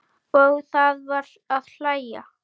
Og það var að hlæja.